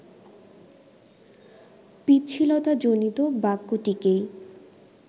পিচ্ছিলতাজনিত বাক্যটিকেই